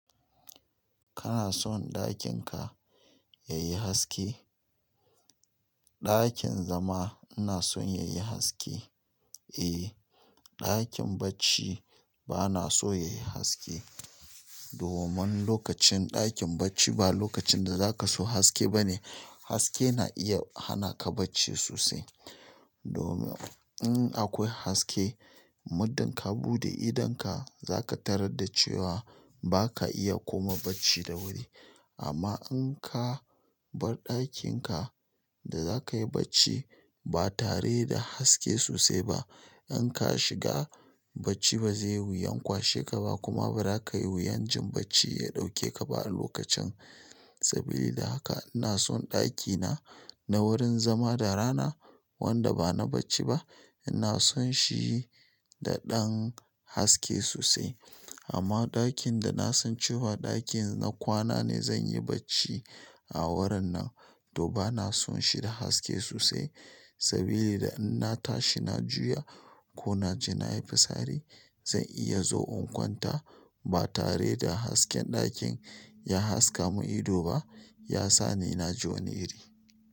Kana son ɗakin ka yayi haske? Ɗakin zama ina son yayi haske. Eh, ɗakin bacci bana so yayi haske domin lokacin ɗakin bacci ba lokacin da zaka so haske bane. Haske na iya hana ka bacci sosai. Domin in akwai haske, muddin ka buɗe idonka zaka tarar da cewa ba ka iya koma bacci da wuri. Amma in ka bar ɗakin ka da za ka yi bacci ba tare da haske sosai ba, in ka shiga bacci ba zai wuyan kwashe ka ba kuma ba ra ka yi wuyan jin bacci ya ɗauke ka ba a lokacin. Sabi da haka ina son ɗakina na wurin zama da rana wanda ba na bacci ba, ina son shi da ɗan haske sosai. Amma ɗakin da na san cewa ɗakin na kwana ne zan yi bacci a wurin nan to bana son shi da haske sosai sabili da in na tashi na juya, ko na je nayi fitsari. Zan iya zo in kwanta ba tare da hasken ɗakin ya haska mun ido ba, ya sa ni na ji wani iri.